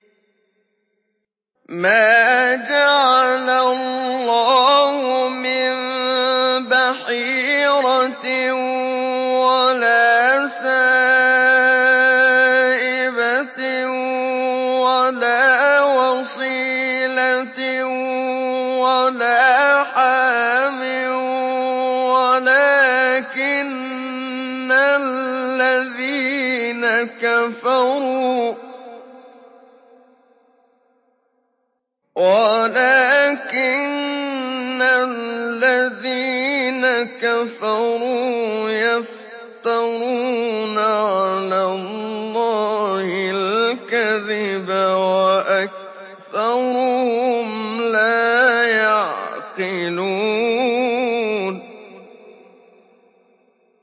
مَا جَعَلَ اللَّهُ مِن بَحِيرَةٍ وَلَا سَائِبَةٍ وَلَا وَصِيلَةٍ وَلَا حَامٍ ۙ وَلَٰكِنَّ الَّذِينَ كَفَرُوا يَفْتَرُونَ عَلَى اللَّهِ الْكَذِبَ ۖ وَأَكْثَرُهُمْ لَا يَعْقِلُونَ